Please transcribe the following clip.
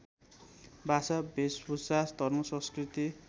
भाषा भेषभूषा धर्मसंस्कृति